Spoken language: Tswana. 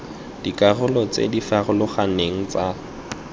dikarolo tse di farologaneng tsa